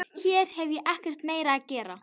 Hér hef ég ekkert meira að gera.